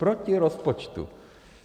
Proti rozpočtu!